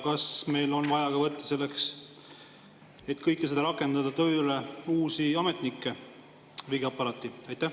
Kas meil on vaja võtta selleks, et kõike seda rakendada, tööle uusi ametnikke riigiaparaati?